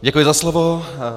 Děkuji za slovo.